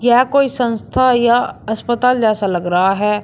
यह कोई संस्था या अस्पताल जैसा लग रहा है।